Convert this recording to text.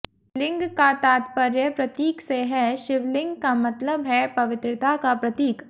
लिंग का तात्पर्य प्रतीक से है शिवलिंग का मतलब है पवित्रता का प्रतीक